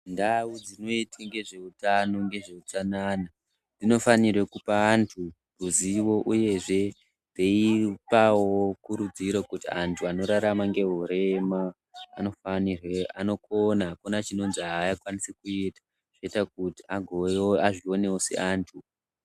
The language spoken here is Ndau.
Ndau dzinoute ngezveutano ngezveutsanana dzinofanire kuoa antu ruzivo uyehe kupawo kurudziro kuti antu anorarama ngehurema anokona akuna chinonzi aya aafanirwi kuita zvinoita kuti azvionewo seantu.